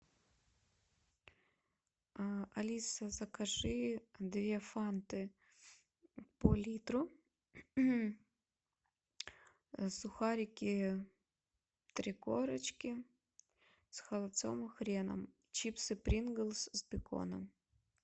алиса закажи две фанты по литру сухарики три корочки с холодцом и хреном чипсы принглс с беконом